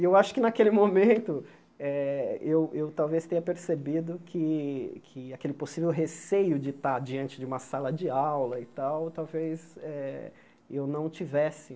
E eu acho que, naquele momento, eh eu eu talvez tenha percebido que que aquele possível receio de estar diante de uma sala de aula e tal, talvez eh eu não tivesse.